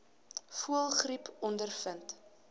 voëlgriep ondervind